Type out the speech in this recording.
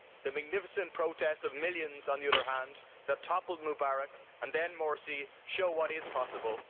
The magnificent protest of millions, on the other hand, that toppled Mubarak and then Morsi, show what is possible.